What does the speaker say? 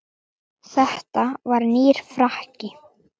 Þetta var nýr frakki.